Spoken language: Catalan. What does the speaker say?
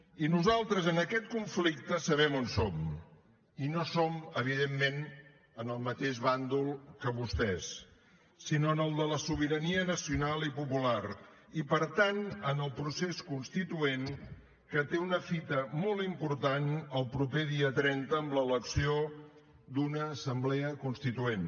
i nosaltres en aquest conflicte serem on som i no som evidentment en el mateix bàndol que vostès sinó en el de la sobirania nacional i popular i per tant en el procés constituent que té una fita molt important el proper dia trenta amb l’elecció d’una assemblea constituent